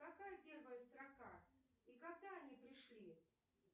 какая первая строка и когда они пришли